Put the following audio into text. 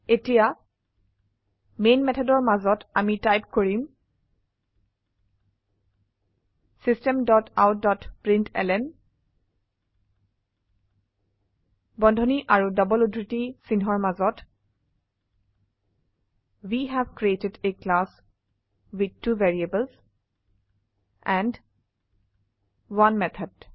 এতিয়া মেন মেথডৰ মাজতআমি টাইপ কৰিমSystem ডট আউট ডট প্ৰিণ্টলন বন্ধনী আৰু ডবল উদ্ধৃতি চিন্হৰ মাজত we have created a class with two variables and 1 method